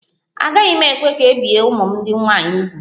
Agaghị m ekwe ka e bie ụmụ m ndị nwaanyị úgwù